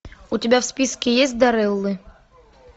у тебя в списке есть дарреллы